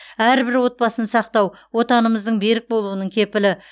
әрбір отбасын сақтау отанымыздың берік болуының кепілі